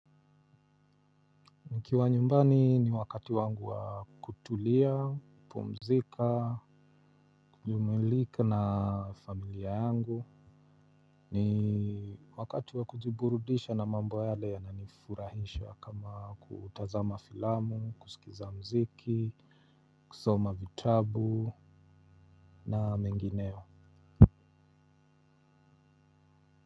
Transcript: Nikiwa nyumbani ni wakati wangu wa kutulia, pumzika, kujumilika na familia yangu. Ni wakati wa kujiburudisha na mambo yale yana nifurahisha kama kutazama filamu, kusikiza mziki, kusoma vitabu na mengineo.